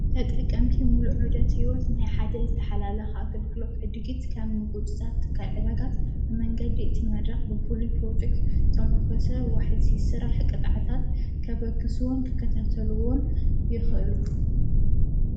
ተጠቀምቲ ምሉዑ ደት ሕይወት ማይ ሓደ ዝተኃላላኽ ኣገልግሎት ዕድጊት ከም ምጕፅጻር ቲ ካልዕዳጋት ብመንገዲ እቲ መድራኽ ብፍል ጵሮፊክ ተምርኮሰ ወሕዚ ሥራ ሕቕጥዓታት ከበግስዎን ክከታተልዎን ይኽእሉ።